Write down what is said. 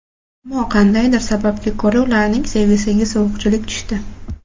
Ammo qandaydir sababga ko‘ra ularning sevgisiga sovuqchilik tushdi.